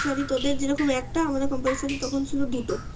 তোদের যেরকম একটা আমাদের compulsory ছিল দুটো